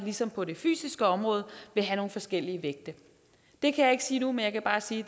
det som på det fysiske område have nogle forskellige vægte det kan jeg ikke sige nu men jeg kan bare sige